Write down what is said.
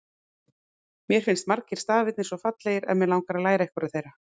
Mér finnst margir stafirnir svo fallegir að mig langar að læra einhverja þeirra!